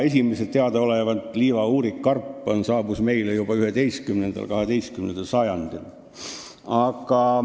Esimesed, teadaolevalt liiva-uurikkarbid, saabusid meile juba 11.–12. sajandil.